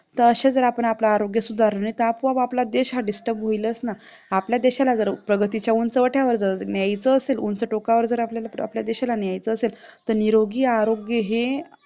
तर असे जर आपण आपले आरोग्य सुधारले तर आपोआप आपला देश हा DISTURB होईलच ना आपल्या देशाला जर प्रगतीच्या उंचवट्यावर जर न्यायचं असेल उंच टोकावर जर आपल्याला आपल्या देशाला न्यायचं असेल तर निरोगी आरोग्य हे